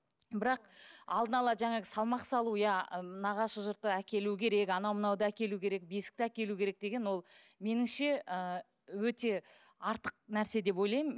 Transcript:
бірақ алдын ала жаңағы салмақ салу иә нағашы жұрты әкелу керек анау мынауды әкелу керек бесікті әкелу керек деген ол меніңше ы өте артық нәрсе деп ойлаймын